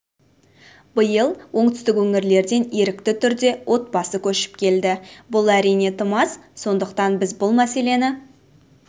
биыл оңтүстік өңірлерден ерікті түрде отбасы көшіп келді бұл әрине тым аз сондықтан біз бұл мәселені